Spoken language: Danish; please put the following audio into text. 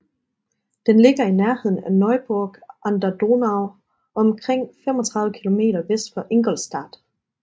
Den ligger i nærheden af Neuburg an der Donau og omkring 35 km vest for Ingolstadt